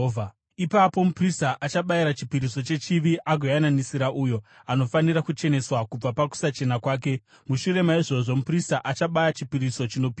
“Ipapo muprista achabayira chipiriso chechivi agoyananisira uyo anofanira kucheneswa kubva pakusachena kwake. Mushure maizvozvo muprista achabaya chipiriso chinopiswa